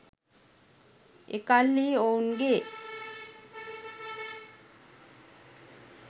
එකල්හි ඔවුන්ගේ